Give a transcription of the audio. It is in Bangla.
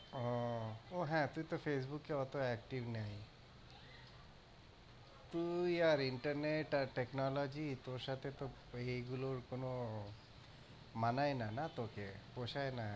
ওও ও হ্যাঁ তুই তো Facebook এ অতো active নেই। তুই আর internet আর technology তোর সাথে তো এই গুলোর কোন মানায় না তোকে, পোষায় না।